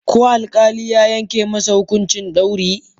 Ko alkali ya yanke masa hukuncin dauri?